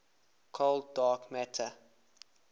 cold dark matter